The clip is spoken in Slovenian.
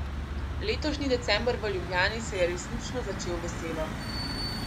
Letošnji december v Ljubljani se je resnično začel veselo.